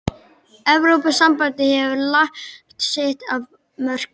Evrópusambandið hefur lagt sitt af mörkum.